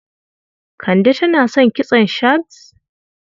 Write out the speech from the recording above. Kande tana son kitson shags?